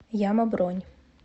яма бронь